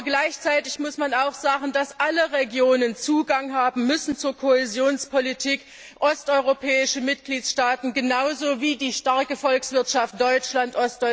Aber gleichzeitig muss man auch sagen, dass alle Regionen Zugang zur Kohäsionspolitik haben müssen, osteuropäische Mitgliedstaaten genauso wie die starke Volkswirtschaft Deutschland.